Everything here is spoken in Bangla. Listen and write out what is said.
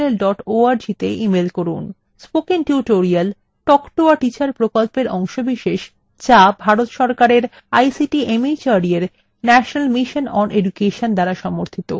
spoken tutorial talk to a teacher প্রকল্পের অংশবিশেষ যা ভারত সরকারের ict mhrd এর national mission on education দ্বারা সমর্থিত